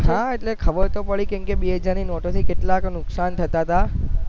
હા એટલે તો ખબર પડી કે કેમકે બે હજાર ની નોટો થી કેટલાક નુકસાન થતા હતા